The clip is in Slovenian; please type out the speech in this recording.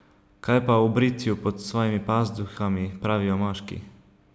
Kaj pa o britju pod svojimi pazduhami pravijo moški?